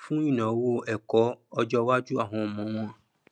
fún ìnáwó ẹkọ ọjọwájú àwọn ọmọ wọn